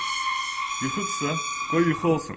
Yuxudursa, qoy yuxu olsun.